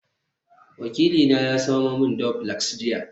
wakilina ya samo min duplex jiya